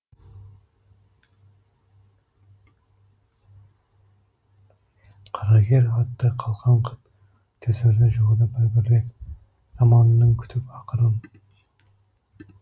қарагер атты қалқан қып түсірді жауды бір бірлеп заманның күтіп ақырын